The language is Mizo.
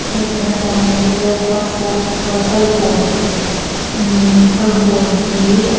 aw tuna kan hmuh hi zokhua folk falkawn imm falkawn tih a ni.